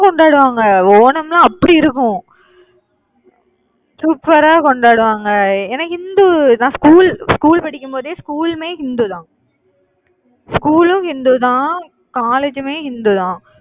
கொண்டாடுவாங்க. ஓணம்னா அப்படி இருக்கும் super ஆ கொண்டாடுவாங்க. எ~ எனக்கு இந்து தான் நா school school படிக்கும் போதே school உமே இந்து தான். school உம் இந்து தான், college உமே இந்து தான்.